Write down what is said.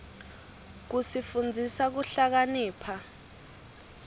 tsifundisa kuhlakanipha